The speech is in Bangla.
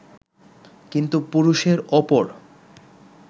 কিন্তু পুরুষের ওপর